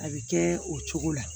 A bɛ kɛ o cogo la